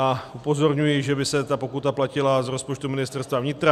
A upozorňuji, že by se ta pokuta platila z rozpočtu Ministerstva vnitra.